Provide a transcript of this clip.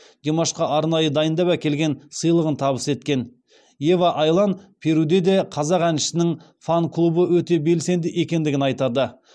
димашқа арнайы дайындап әкелген сыйлығын табыс еткен ева айлан перуде де қазақ әншісінің фан клубы өте белсендігі екендігін айтады